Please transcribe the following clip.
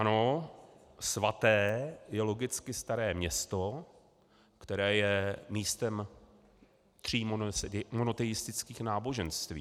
Ano, svaté je logicky Staré Město, které je místem tří monoteistických náboženství.